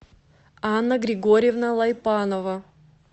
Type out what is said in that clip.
анна григорьевна лайпанова